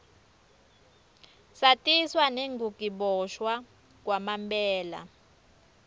satiswa nengukiboshwa kwamanbela